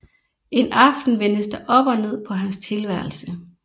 En aften vendes der op og ned på hans tilværelse